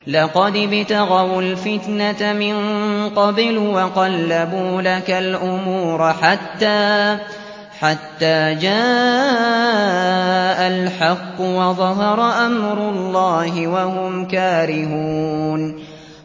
لَقَدِ ابْتَغَوُا الْفِتْنَةَ مِن قَبْلُ وَقَلَّبُوا لَكَ الْأُمُورَ حَتَّىٰ جَاءَ الْحَقُّ وَظَهَرَ أَمْرُ اللَّهِ وَهُمْ كَارِهُونَ